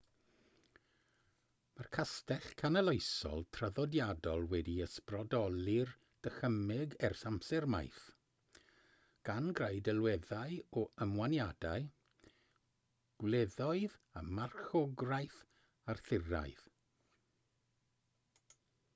mae'r castell canoloesol traddodiadol wedi ysbrydoli'r dychymyg ers amser maith gan greu delweddau o ymwaniadau gwleddoedd a marchogwraeth arthuraidd